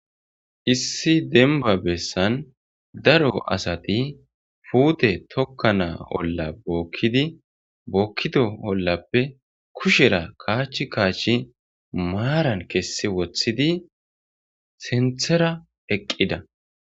Issi denba bessan daro asati puute tokka naa olla bookkidi bookkido ollappe kushera kaachchi kaachchi maaran kessi woththidi senthera eqqida.